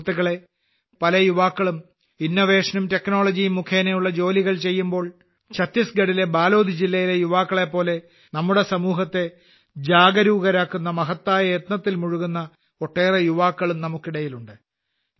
സുഹൃത്തുക്കളേ പല യുവാക്കളും ഇന്നോവേഷൻ നും ടെക്നോളജി യും മുഖേനയുള്ള ജോലികൾ ചെയ്യുമ്പോൾ ഛത്തീസ്ഗഢിലെ ബാലോദ് ജില്ലയിലെ യുവാക്കളെപ്പോലെ നമ്മുടെ സമൂഹത്തെ ജാഗരൂകരാക്കുന്ന മഹത്തായ യത്നത്തിൽ മുഴുകുന്ന ഒട്ടേറെ യുവാക്കളും നമുക്കിടയിലുണ്ട്